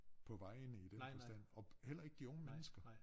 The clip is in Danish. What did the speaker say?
På vejene i den forstand og heller ikke de unge mennesker